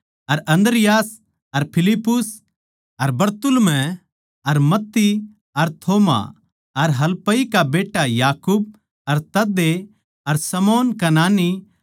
अर अन्द्रियास अर फिलिप्पुस अर बरतुल्मै अर मत्ती अर थोमा अर हलफई का बेट्टा याकूब अर तदै अर शमौन कनानी